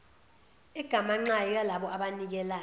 egamanxayo yalabo abanikelayo